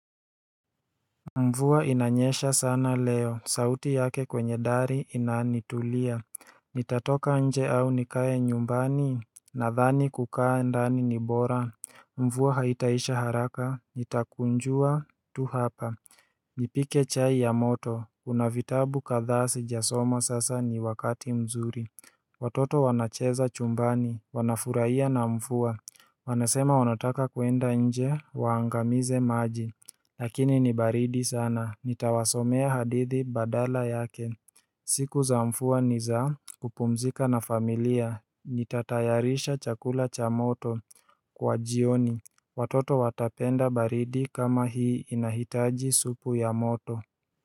Mvua inanyesha sana leo, sauti yake kwenye dari inanitulia Nitatoka nje au nikae nyumbani Nadhani kukaa ndani ni bora Mvua haitaisha haraka, nitakunjua tu hapa Nipike chai ya moto, kuna vitabu kadhaa sijasoma sasa ni wakati mzuri Watoto wanacheza chumbani, wanafurahia na mvua Wanasema wanataka kuenda nje, waangamize maji Lakini ni baridi sana, nitawasomea hadithi badala yake siku za mvua ni za kupumzika na familia, nitatayarisha chakula cha moto kwa jioni Watoto watapenda baridi kama hii inahitaji supu ya moto.